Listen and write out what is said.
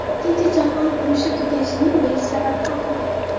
Ikkinchi jahon urushi tugashining besh sababi haqida.